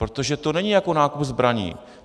Protože to není jako nákup zbraní.